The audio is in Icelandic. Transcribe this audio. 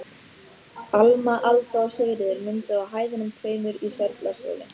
Alma, Alda og Sigríður mynduðu á hæðunum tveimur í Sörlaskjóli.